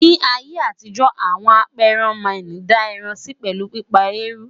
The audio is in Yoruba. ní ayé àtijó, àwọn aperan Man dá ẹran Si pelu pípa eruu